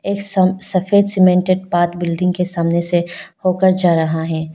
एक सफेद cemented park building के सामने से होकर जा रहा है।